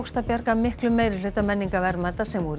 að bjarga miklum meirihluta menningarverðmæta sem voru í